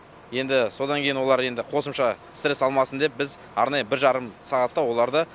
енді содан кейін олар енді қосымша стресс алмасын деп біз арнайы бір жарым сағатта оларды